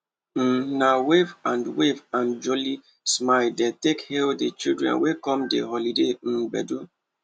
um na wave and wave and jooly smile dey take hal di children wey come di holiday um gbedu